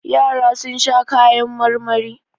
Yara sun sha kayan marmari.